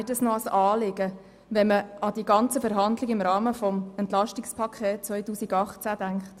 Ich denke auch an die Verhandlungen im Zusammenhang mit dem Entlastungspaket 2018.